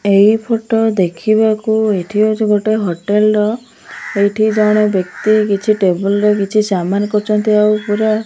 ଏହି ଫୋଟୋ ଦେଖିବାକୁ ଏଠି ହଉଛି ଗୋଟେ ହୋଟେଲ୍ ର ଏଠି ଜଣେ ବ୍ୟକି କିଛି ଟେବୁଲ ରେ କିଛି ସାମାନ କରୁଛନ୍ତି ଆଉ ପୁରା --